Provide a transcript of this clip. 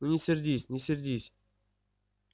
ну не сердись не сердись